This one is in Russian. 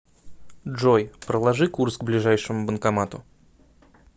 джой проложи курс к ближайшему банкомату